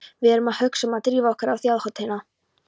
Við erum að hugsa um að drífa okkur á Þjóðhátíðina.